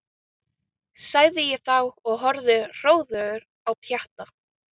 sagði ég þá og horfði hróðugur á Pjatta.